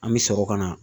An bɛ sɔrɔ ka na